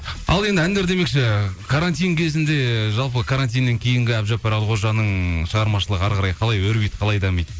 ал енді әндер демекші карантин кезінде жалпы карантиннен кейінгі әбдіжаппар әлқожаның шығармашылығы әріқарай қалай өрбиді қалай дамиды